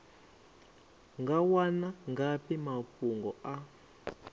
nga wana ngafhi mafhungo a